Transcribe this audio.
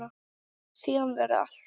Síðan verður allt hljótt.